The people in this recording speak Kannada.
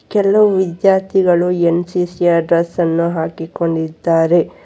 ಕೆಲವು ವಿದ್ಯಾರ್ಥಿಗಳು ಎನ್_ಸಿ_ಸಿ ಯ ಡ್ರೆಸ್ ಅನ್ನು ಹಾಕಿಕೊಂಡಿದ್ದಾರೆ.